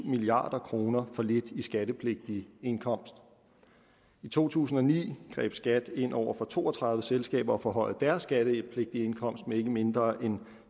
milliard kroner for lidt i skattepligtig indkomst i to tusind og ni greb skat ind over for to og tredive selskaber og forhøjede deres skattepligtige indkomst med ikke mindre end